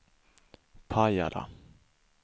Pajala